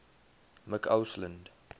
mccausland